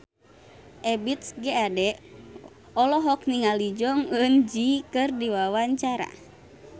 Ebith G. Ade olohok ningali Jong Eun Ji keur diwawancara